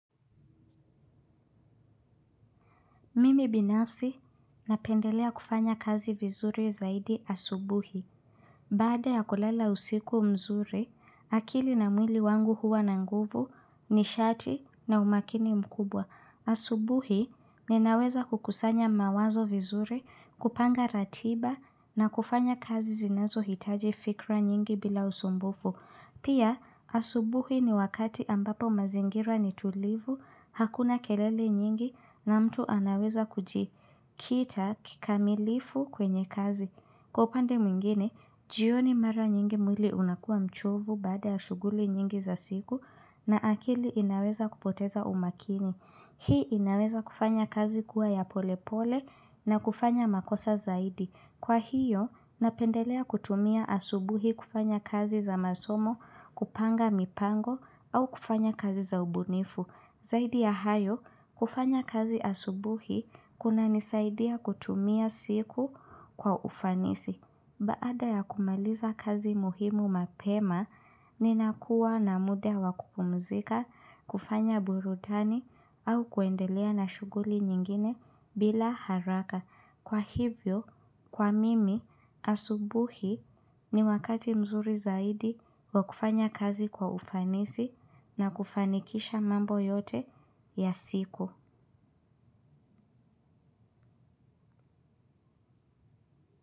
Mimi binafsi napendelea kufanya kazi vizuri zaidi asubuhi. Baada ya kulala usiku mzuri, akili na mwili wangu huwa na nguvu, nishati na umakini mkubwa. Asubuhi ninaweza kukusanya mawazo vizuri, kupanga ratiba na kufanya kazi zinazo hitaji fikra nyingi bila usumbufu. Pia, asubuhi ni wakati ambapo mazingira ni tulivu, hakuna kelele nyingi na mtu anaweza kujikita kikamilifu kwenye kazi. Kwa upande mwingine, jioni mara nyingi mwili unakuwa mchovu baada ya shughuli nyingi za siku na akili inaweza kupoteza umakini. Hii inaweza kufanya kazi kuwa ya polepole nakufanya makosa zaidi. Kwahiyo, napendelea kutumia asubuhi kufanya kazi za masomo, kupanga mipango au kufanya kazi za ubunifu. Zaidi ya hayo, kufanya kazi asubuhi kunanisaidia kutumia siku kwa ufanisi. Baada ya kumaliza kazi muhimu mapema, ninakuwa na muda wa kupumzika, kufanya burudani au kuendelea na shughuli nyingine bila haraka. Kwa hivyo, kwa mimi, asubuhi ni wakati mzuri zaidi wa kufanya kazi kwa ufanisi na kufanikisha mambo yote ya siku.